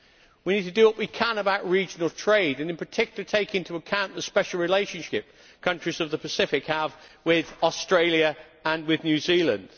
We need to do what we can about regional trade and in particular to take into account the special relationship that countries of the Pacific have with Australia and with New Zealand.